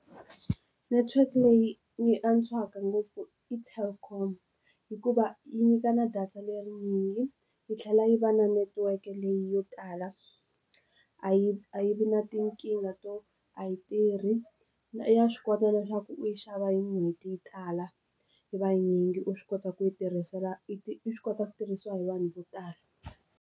Network leyi yi antswaka ngopfu i telkom hikuva yi nyikana data lerinyingi yi tlhela yi va na netiweke leyi yo tala a yi a yi vi na tinkingha to a yi tirhi na i ya swi kota leswaku u yi xava hi n'hweti yi tala yi vanyingi u swi kota ku yi tirhisela i swi kota ku tirhisiwa hi vanhu vo tala.